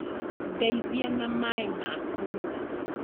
Ndeithia na maĩ ma kũnyua